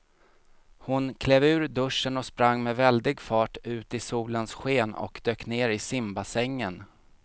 Hon klev ur duschen, sprang med väldig fart ut i solens sken och dök ner i simbassängen.